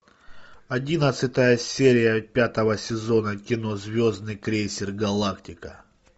одиннадцатая серия пятого сезона кино звездный крейсер галактика